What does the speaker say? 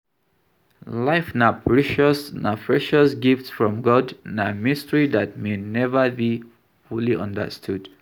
life na precious gift from God, na mystery dat may never be fully understood.